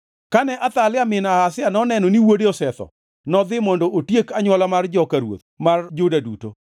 Kane Athalia min Ahazia noneno ni wuode osetho, nodhi mondo otiek anywola mar joka ruoth mar Juda duto.